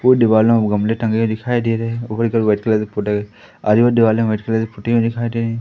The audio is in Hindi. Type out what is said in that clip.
वो दीवाल में गमले टंगे हुए दिखाई दे रहे आजू बाजू दिवालों में वाइट कलर दिखाई दे रहीं--